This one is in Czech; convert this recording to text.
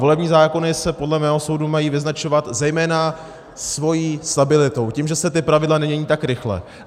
Volební zákony se podle mého soudu mají vyznačovat zejména svou stabilitou, tím, že se ta pravidla nemění tak rychle.